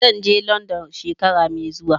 Zan je London shekara mai zuwa.